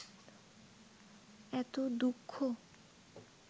এত দুঃখ